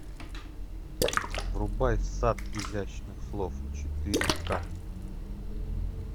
врубай сад изящных слов четыре ка